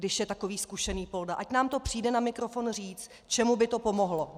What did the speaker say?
Když je takový zkušený polda, ať nám to přijde na mikrofon říct, čemu by to pomohlo.